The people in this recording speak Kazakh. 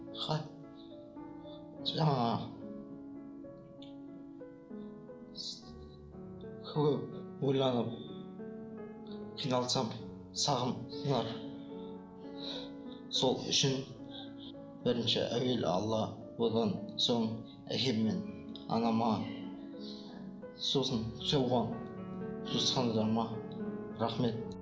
жаңағы ойланып қиналсам сол үшін бірінші әуелі алла содан соң әкем мен анама сосын туысқандарыма рахмет